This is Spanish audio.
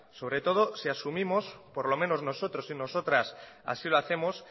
sobre todo si asumimos por lo menos nosotros y nosotras así lo hacemos